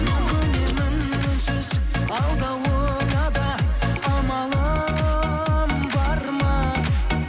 көнемін үнсіз алдауыңа да амалым бар ма